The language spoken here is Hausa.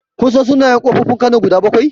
Kun san sunayen ƙofofin kano guda bakwai?